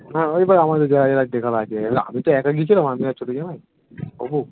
হ্যাঁ, এবার আমাদের যারা যারা দেখার আছে, এবার আমি তো একা গিয়েছিলাম আমি আর ছোট জামাই